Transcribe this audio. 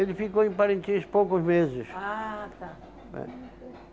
Ele ficou em Parintins poucos meses. Ah, tá. É.